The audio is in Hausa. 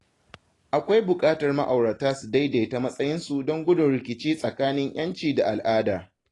Akwai buƙatar ma’aurata su daidaita matsayinsu don gudun rikici tsakanin ‘yanci da al’ada.